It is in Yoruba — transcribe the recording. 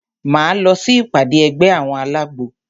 Máa lọ sí ìpàdé ẹgbẹ́ àwọn alágbo.